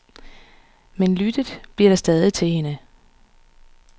Men lyttet bliver der stadig til hende.